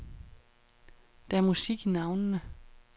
Der er musik i navnene.